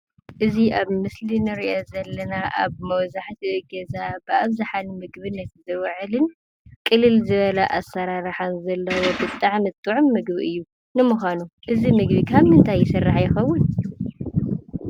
እዚ ኣብ ምስሊ እንሪኦ ዘለና ኣብ መብዛሕትኡ ገዛ ኣብ ብኣብዘሓ ንምግብት ዝውዕል ቅልል ዝበለ ኣሰራርሓ ዘለዎ ብጣዕሚ ጥዑም ምግቢ እዩ፡፡ ንመዃኑ እዚ ምግቢ ካብ ምንታይ ይስራሕ ይከውን?